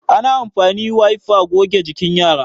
ana amfani wiper goge jikin yara